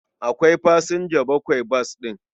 Akwai fasinja bakwai bas ɗin.